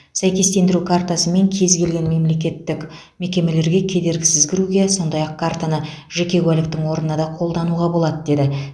сәйкестендіру картасымен кез келген мемлекеттік мекемелерге кедергісіз кіруге сондай ақ картаны жеке куәліктің орнына да қолдануға болады деді